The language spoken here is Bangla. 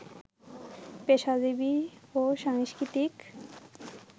পেশাজীবি ও সাংস্কৃতিক